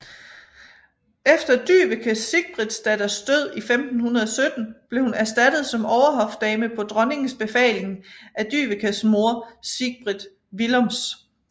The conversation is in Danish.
Efter Dyveke Sigbrittsdatters død i 1517 blev hun erstattet som overhofdame på dronningens befaling af Dyvekes mor Sigbrit Willoms